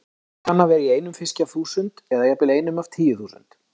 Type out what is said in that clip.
Hann kann að vera í einum fiski af þúsund, eða jafnvel einum af tíu þúsund.